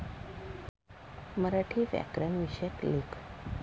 मराठी व्याकरण विषयक लेख